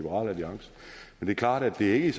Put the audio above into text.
er klart at det ikke